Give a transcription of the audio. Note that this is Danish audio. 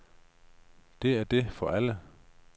Det er det for alle.